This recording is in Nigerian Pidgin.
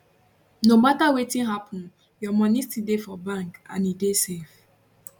no mata wetin happun your money still dey for bank and e dey safe